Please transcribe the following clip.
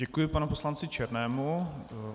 Děkuji panu poslanci Černému.